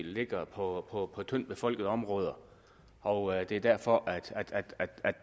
ligger på tyndt befolkede områder og at det er derfor